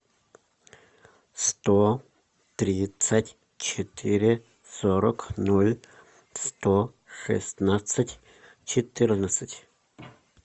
сто тридцать четыре сорок ноль сто шестнадцать четырнадцать